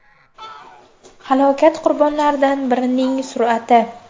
Halokat qurbonlaridan birining surati.